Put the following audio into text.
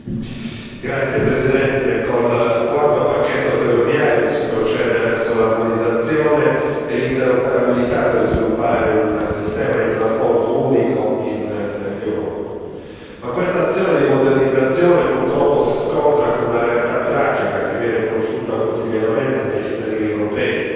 Signor Presidente, onorevoli colleghi, col quarto pacchetto ferroviario si procede verso l'armonizzazione e l'interoperabilità per sviluppare un sistema di trasporto unico in Europa. Questa azione di modernizzazione, purtroppo, si scontra con una realtà tragica che viene conosciuta quotidianamente dai cittadini europei.